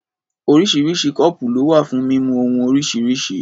Oríṣiríṣi kọ́ọ̀pù ló wà fún mímu ohun oríṣiríṣi.